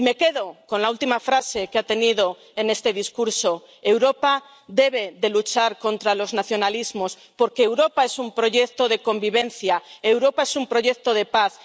Y me quedo con la última frase que ha pronunciado en este discurso Europa debe luchar contra los nacionalismos, porque Europa es un proyecto de convivencia, Europa es un proyecto de paz.